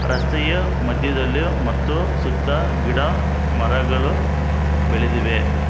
ರಸ್ತೆಯ ಮಧ್ಯದಲ್ಲಿ ಮತ್ತು ಸುತ್ತ ಗಿಡ ಮರಗಳು ಬೆಳೆದಿವೆ.